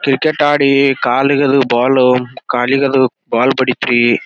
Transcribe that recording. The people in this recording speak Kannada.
ಕ್ರಿಕೆಟ್ ಅಡಿ ಕಲಿಗದು ಬಾಲ್ ಕಲಿಗದು ಬಾಲು ಬಡೀತು ರೀ .